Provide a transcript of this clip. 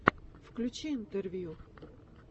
включи интервью